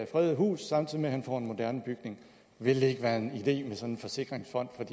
fredede hus samtidig med at han får en moderne bygning ville det ikke være en idé med sådan en forsikringsfond